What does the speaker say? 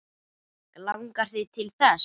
Langar þig til þess?